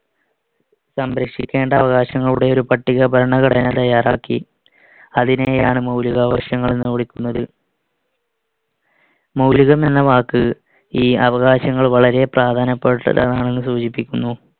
സംരക്ഷിക്കേണ്ട അവകാശങ്ങളുടെ ഒരു പട്ടിക ഭരണഘടന തയ്യാറാക്കി. അതിനെയാണ് മൗലികാവകാശങ്ങൾ എന്ന് വിളിക്കുന്നത്. മൗലികം എന്ന വാക്ക് ഈ അവകാശങ്ങൾ വളരെ പ്രധാനപ്പെട്ടതാണെന്നു സൂചിപ്പിക്കുന്നു.